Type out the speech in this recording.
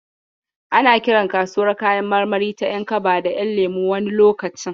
Ana kiran kasuwar kayan marmari ta ƴankaba da ƴanlemo wani lokacin.